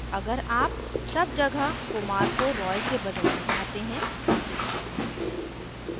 अगर आप सब जगह kumar को roy से बदलना चाहते हैं